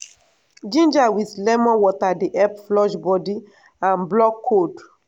ginger with lemon water dey help flush body and block cold.